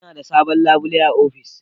Ina da sabon labule a ofis.